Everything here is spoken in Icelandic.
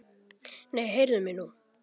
Nei, heyrðu mig nú!